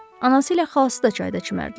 Anası ilə xalası da çayda çimərdilər.